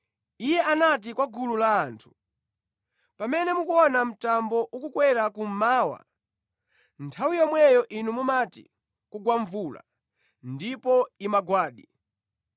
Iye anati kwa gulu la anthu, “Pamene mukuona mtambo ukukwera kummawa, nthawi yomweyo inu mumati, ‘kugwa mvula,’ ndipo imagwadi.